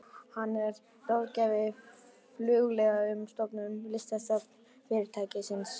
Hann er og ráðgjafi Flugleiða um stofnun listasafns fyrirtækisins.